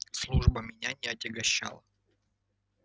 служба меня не отягощала